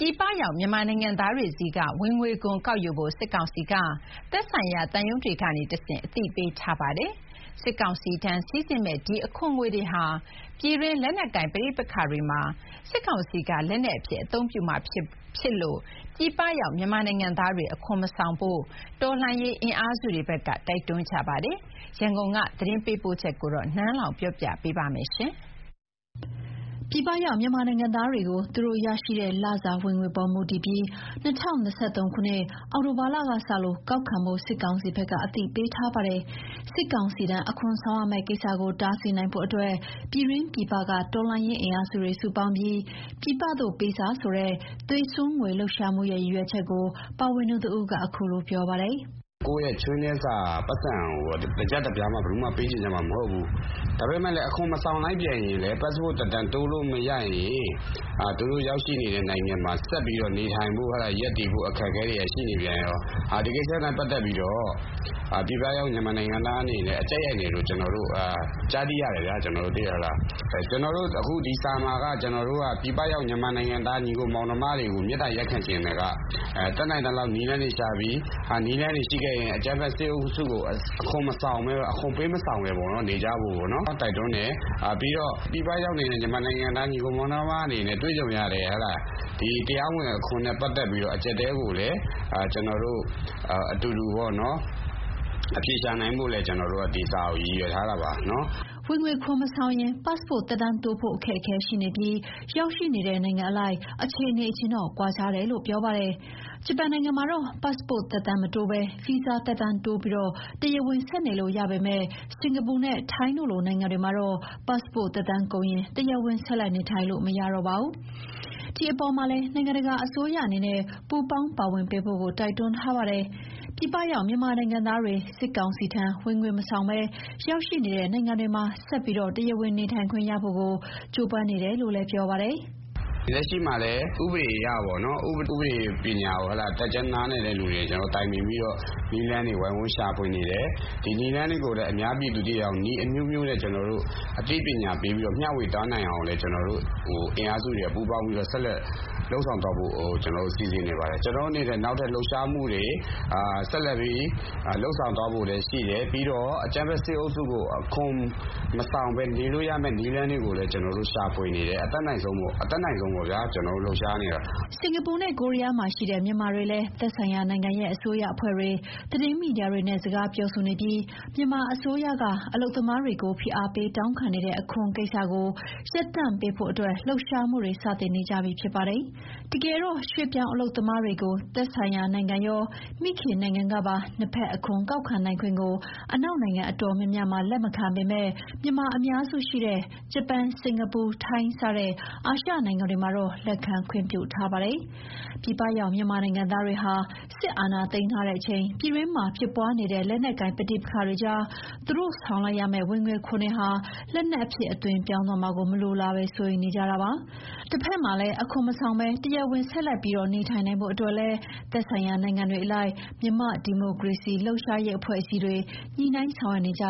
ြည်ပရောက် မြန်မာနိုင်ငံသားတွေဆီက ဝင်ငွေခွန်ကောက်ယူဖို့ စစ်ကောင်စီက သက်ဆိုင်ရာ သံရုံးတွေကနေတဆင့် အသိပေးထားပါတယ်။ စစ်ကောင်စီထံ စီးဆင်းမယ့် ဒီအခွန်ငွေတွေဟာ ပြည်တွင်းလက်နက်ကိုင်ပဋိပက္ခတွေမှာ စစ်ကောင်စီက လက်နက်အဖြစ် အသုံးပြုမှာဖြစ်လို့ ပြည်ပရောက် မြန်မာနိုင်ငံသားတွေ အခွန်မဆောင်ဖို့ကို တော်လှန်ရေးအင်အားစုတွေဘက်က တိုက်တွန်းကြပါတယ်။ ရန်ကုန်ကနေ သတင်းပေးပို့ချက်ကို နန်းလောဝ်က တင်ပြပေးထားပါတယ်။ ပြည်ပရောက် မြန်မာနိုင်ငံသားတွေကို သူတို့ရတဲ့လစာဝင်ငွေပေါ် မူတည်ပြီး ၂၀၂၃ ခုနှစ် အောက်တိုဘာလကစပြီး အခွန်ငွေကောက်ခံဖို့ စစ်ကောင်စီဘက်က အသိပေးထားပါတယ်။ စစ်ကောင်စီထံ အခွန်ဆောင်ရမယ့်ကိစ္စကို တားဆီးနိုင်ဖို့ ပြည်တွင်း၊ ပြည်ပက တော်လှန်ရေးအင်အားစုတွေ စုပေါင်းပြီး "ပြည်ပသို့ပေးစာ" ဆိုတဲ့ သွေးစွန်းငွေလှုပ်ရှားမှုရဲ့ ရည်ရွယ်ချက်ကို ပါဝင်သူတဦးက အခုလိုပြောပါတယ်။ "ကိုယ့်ရဲ့ ချွေးနှဲစာပိုက်ဆံကို တကျပ်တပြားမှ ဘယ်သူမှ ပေးချင်ကြမှာမဟုတ်ဘူး။ ဒါပေမဲ့ အခွန်မဆောင်လိုက်ပြန်ရင်လည်း ပတ်စ်ပို့သက်တမ်းတိုးလို့မရရင် သူတို့ရောက်ရှိနေတဲ့နိုင်ငံမှာ ဆက်ပြီးနေထိုင်ဖို့ အခက်အခဲတွေက ရှိနေပြန်ရော။ ဒီကိစ္စနဲ့ ပတ်သက်ပြီးတော့ ပြည်ပရောက် မြန်မာနိုင်ငံသားတွေ အကြပ်ရိုက်နေတယ်လို့ ကျနော်တို့ ကြားသိရတယ်။ အခု ကျနော်တို့ ဒီစာမှာက ပြည်ပရောက် မြန်မာနိုင်ငံသား ညီအစ်ကိုမောင်နှမတွေကို မေတ္တာရပ်ခံချင်တာက တတ်နိုင်သလောက် နည်းလမ်းတွေရှာပြီး နည်းလမ်းတွေရှိခဲ့ရင် အကြမ်းဖက်စစ်အုပ်စုကို အခွန်မဆောင်ဘဲ နေကြဖို့ကို တိုက်တွန်းတယ်။ ပြီးတော့ တွေ့ကြုံရတဲ့ ဒီတရားမဝင်အခွန်နဲ့ ပတ်သက်ပြီးတော့ အကျပ်အတည်းကိုလည်း ကျနော်တို့အတူတူ အဖြေရှာနိုင်ဖို့ကို ဒီစာကို ရည်ရွယ်ထားတာပါ။" ဝင်ငွေခွန်မဆောင်ရင် ပတ်စ်ပို့သက်တမ်းတိုးဖို့ အခက်အခဲရှိနေပြီး ရောက်ရှိနေတဲ့ နိုင်ငံအလိုက် အခြေအနေချင်းတော့ ကွာခြားတယ်လို့ ပြောပါတယ်။ ဂျပန်နိုင်ငံမှာတော့ ပတ်စ်ပို့သက်တမ်းမတိုးဘဲ ဗီဇာသက်တမ်းတိုးပြီး တရားဝင်ဆက်နေလို့ရပေမယ့် စင်္ကာပူနဲ့ ထိုင်းလိုနိုင်ငံတွေမှာတော့ ပတ်စ်ပို့သက်တမ်းကုန်ရင် တရားဝင်ဆက်လက် နေထိုင်လို့မရပါဘူး။ ဒီအပေါ်မှာလည်း နိုင်ငံတကာ အစိုးရအနေနဲ့ ပူးပေါင်းပါဝင်ပေးဖို့ကို တိုက်တွန်းထားပါတယ်။ ပြည်ပရောက် မြန်မာနိုင်ငံသားတွေ စစ်ကောင်စီထံ ဝင်ငွေခွန်မဆောင်ဘဲ ရောက်ရှိနေတဲ့ နိုင်ငံတွေမှာ ဆက်ပြီးတရားဝင် နေထိုင်ခွင့်ရဖို့ကို ကြိုးပမ်းနေတယ်လို့လည်း ပြောပါတယ်။ "လက်ရှိမှာလည်း ဥပဒေအရ ဥပဒေပညာ တတ်ကျွမ်းနားလည်သူတွေနဲ့ ကျနော်တို့ တိုင်ပင်ပြီးတော့ နည်းလမ်းတွေ ဝိုင်းဝန်းရှာဖွေနေတယ်။ ဒီနည်းလမ်းတွေကိုလည်း အများပြည်သူသိအောင် နည်းအမျိုးမျိုးနဲ့ အသိပညာပေးပြီး မျှဝေသွားနိုင်အောင်လည်း အင်အားစုတွေ စုပေါင်းပြီးတော့ လုပ်ဆောင်သွားဖို့ စီစဉ်နေပါတယ်။ ကျနော်တို့အနေနဲ့ နောက်ထပ်လှုပ်ရှားမှုတွေ ဆက်လက်ပြီး လုပ်ဆောင်သွားဖို့ရှိတယ်။ ပြီးတော့ အကြမ်းဖက်စစ်အုပ်စုကို အခွန်မဆောင်ဘဲ နေလို့ရတဲ့ နည်းလမ်းတွေကိုလည်း ကျနော်တို့ ရှာဖွေနေပါတယ်။ အတတ်နိုင်ဆုံးပေါ့ဗျာ ကျနော်တို့ လှုပ်ရှားနေပါတယ်။" စင်္ကာပူနဲ့ ကိုရီးယားမှာရှိတဲ့ မြန်မာတွေလည်း သက်ဆိုင်ရာနိုင်ငံရဲ့ အစိုးရအဖွဲ့တွေ၊ သတင်းမီဒီယာတွေနဲ့ စကားပြောဆိုနေပြီး မြန်မာအစိုးရက အလုပ်သမားတွေကို ဖိအားပေး တောင်းခံနေတဲ့ အခွန်ကိစ္စတွေကို ရပ်တန့်ပေးဖို့အတွက် လှုပ်ရှားမှုတွေ စတင်နေကြပြီ ဖြစ်ပါတယ်။ တကယ်တော့ ရွှေ့ပြောင်းအလုပ်သမားတွေကို သက်ဆိုင်ရာနိုင်ငံရော မိခင်နိုင်ငံကပါ နှစ်ဘက်အခွန်ကောက်ခံနိုင်ခွင့်ကို အနောက်နိုင်ငံအတော်များများမှာ လက်မခံပေမယ့် မြန်မာအများစုရှိတဲ့ ဂျပန်၊ စင်ကာပူ၊ ထိုင်းစတဲ့ အာရှနိုင်ငံတွေမှာတော့ လက်ခံခွင့်ပြုထားပါတယ်။ ပြည်ပရောက် မြန်မာနိုင်ငံသားတွေဟာ စစ်အာဏာသိမ်းထားချိန် ပြည်တွင်းမှာဖြစ်ပွားနေတဲ့ လက်နက်ကိုင်ပဋိပက္ခတွေကြား သူတို့ဆောင်လိုက်ရမယ့် ဝင်ငွေခွန်တွေဟာ လက်နက်အဖြစ် အသွင်ပြောင်းသွားမှာကို မလိုလားဘဲ စိုးရိမ်နေကြတာပါ။ တဘက်မှာလည်း အခွန်မဆောင်ဘဲ တရားဝင်ဆက်ပြီး နေထိုင်နိုင်ဖို့လည်း သက်ဆိုင်ရာနိုင်ငံတွေအလိုက် မြန်မာ့ဒီမိုကရေစီလှုပ်ရှားရေးအဖွဲ့အစည်းတွေ ညှိနှိုင်းဆောင်ရွက်နေကြ